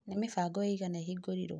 Ni mĩbango ĩigana ĩhingũrirwo?